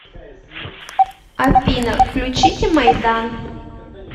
афина включите майдан